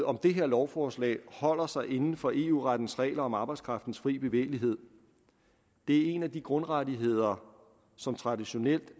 om det her lovforslag holder sig inden for eu rettens regler om arbejdskraftens fri bevægelighed det er en af de grundrettigheder som traditionelt